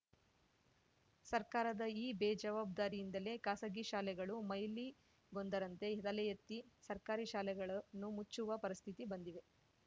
ಸರ್ಕಾರದ ಈ ಬೇಜಾವಾಬ್ದಾರಿಯಿಂದಲೇ ಖಾಸಗಿ ಶಾಲೆಗಳು ಮೈಲಿಗೊಂದರಂತೆ ತಲೆ ಎತ್ತಿ ಸರ್ಕಾರಿ ಶಾಲೆಗಳನ್ನು ಮುಚ್ಚುವ ಪರಿಸ್ಥಿತಿ ಬಂದಿವೆ